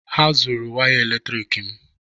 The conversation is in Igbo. Ha zuru waya eletrik m